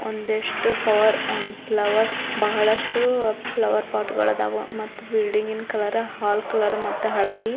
ಒಂದಿಷ್ಟು power flower ಬಹಳಷ್ಟು flower ಪೋಟ್ಗ ಳದಾವ ಮತ್ತ್ ಬಿಲ್ಡಿಂಗ್ ಕಲರ ಹಾಲ್ ಕಲರ ಮತ್ತು ಹಳದಿ.